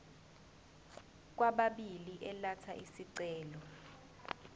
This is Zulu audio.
kwababili elatha isicelo